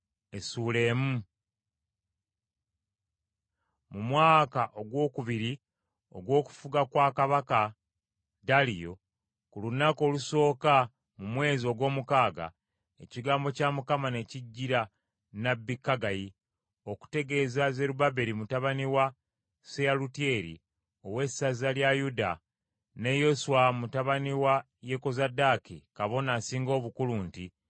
Mu mwaka ogwokubiri ogw’okufuga kwa kabaka Daliyo, ku lunaku olusooka mu mwezi ogw’omukaaga, ekigambo kya Mukama ne kijjira nnabbi Kaggayi okutegeeza Zerubbaberi mutabani wa Seyalutyeri, ow’essaza lya Yuda, ne Yoswa mutabani wa Yekozadaaki kabona asinga obukulu nti: